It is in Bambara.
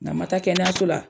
N'a' ma taa kɛnɛyaso la